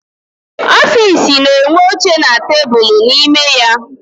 Ọfịịsi na-enwe oche na tebulu n'ime ya.